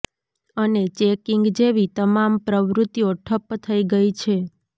અને ચેકીંગ જેવી તમામ પ્રવૃતિઓ ઠપ્પ થઇ ગઇ છે